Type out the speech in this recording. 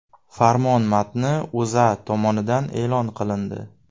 Farmon matni O‘zA tomonidan e’lon qilindi .